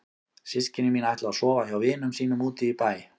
Systkini mín ætla að sofa hjá vinum sínum úti í bæ.